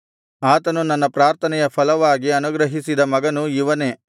ಆತನು ನನ್ನ ಪ್ರಾರ್ಥನೆಯ ಫಲವಾಗಿ ಅನುಗ್ರಹಿಸಿದ ಮಗನು ಇವನೇ